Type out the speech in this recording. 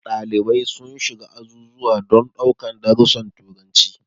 Dalibai sun shiga azuzuwa don daukan darusan turanci.